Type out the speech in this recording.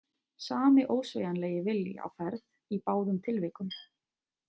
Sami ósveigjanlegi vilji á ferð í báðum tilvikum.